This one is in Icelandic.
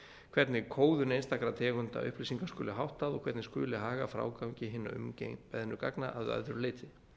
hvernig kóðun einstakra tegunda upplýsinga skuli háttað og hvernig skuli haga frágangi hinna umbeðnu gagna að öðru leyti